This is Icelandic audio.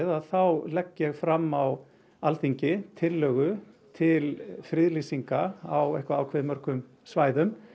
þá legg ég fram á Alþingi tillögu til friðlýsinga á eitthvað ákveðið mörgum svæðum